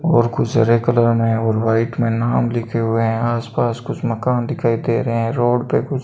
और कुछ हरे कलर में हैं और वाइट में नाम लिखे हुए हैं आसपास कुछ मकान दिखाई दे रहे हैं रोड पे कुछ --